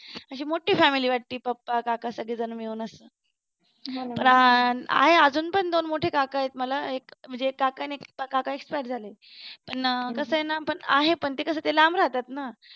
अशी मोठी family वाटते पप्पा काका सगळेजण मिळून अशी आहे अजून पण दोन मोठे काका आहेत मला म्हणजे एक काका आहे आणि एक काका expire झाले पण ना कस आहे ना आहे पण कसं ते लांब राहतात ना